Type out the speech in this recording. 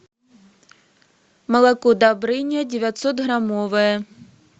молоко добрыня девятьсот граммовое